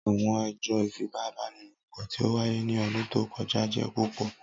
Awọn ẹjọ ifipabanilopo ti o waye ni ọdun to kọja jẹ pupọ.